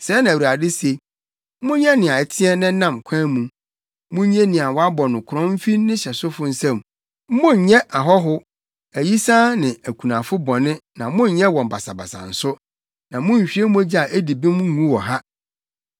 Sɛɛ na Awurade se: Monyɛ nea ɛteɛ na ɛnam kwan mu. Munnye nea wɔabɔ no korɔn mfi ne hyɛsofo nsam. Monnyɛ ɔhɔho, ayisaa ne okunafo bɔne na monnyɛ wɔn basabasa nso, na munnhwie mogya a edi bem ngu wɔ ha.